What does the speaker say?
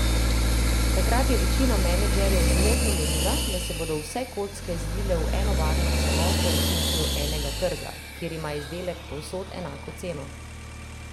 Takrat je večina menedžerjev zmotno menila, da se bodo vse kocke zlile v enobarvno celoto v smislu enega trga, kjer ima izdelek povsod enako ceno.